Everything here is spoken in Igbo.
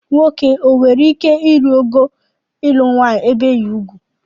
Nwoke o nwere ike ịrụ ogo ịlụ nwanyị ebeghi ugwu?